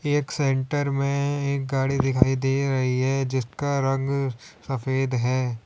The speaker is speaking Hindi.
एक सेंटर में एक गाड़ी दिखाई दे रही है जिसका रंग सफेद है।